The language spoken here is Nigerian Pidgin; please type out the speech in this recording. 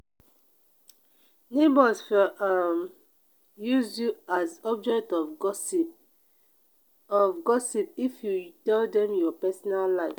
neighbors for um use you as object of gossip of gossip if you tell dem your personal life